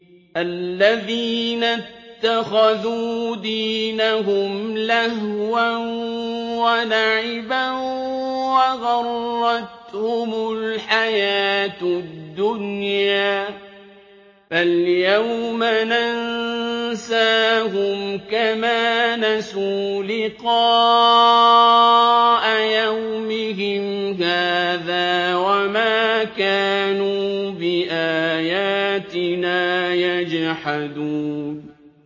الَّذِينَ اتَّخَذُوا دِينَهُمْ لَهْوًا وَلَعِبًا وَغَرَّتْهُمُ الْحَيَاةُ الدُّنْيَا ۚ فَالْيَوْمَ نَنسَاهُمْ كَمَا نَسُوا لِقَاءَ يَوْمِهِمْ هَٰذَا وَمَا كَانُوا بِآيَاتِنَا يَجْحَدُونَ